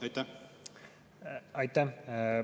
Aitäh!